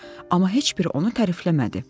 Amma heç biri onu tərifləmədi.